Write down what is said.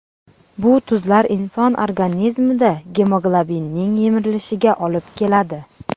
Bu tuzlar inson organizmida gemoglobinning yemirilishiga olib keladi.